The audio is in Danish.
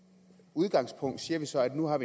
udgangspunkt siger vi så at vi nu har